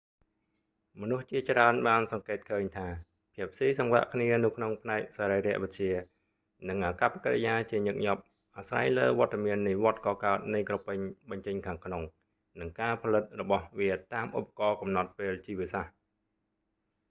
មនុស្សជាច្រើនបានសង្កេតឃើញថាភាពស៊ីសង្វាក់គ្នានៅក្នុងផ្នែកសរីរវិទ្យា និងអាកប្បកិរិយាជាញឹកញាប់អាស្រ័យលើវត្តមាននៃវដ្តកកើតនៃក្រពេញបញ្ចេញខាងក្នុង និងការផលិតរបស់វាតាមឧបករណ៍កំណត់ពេលជីវសាស្រ្ត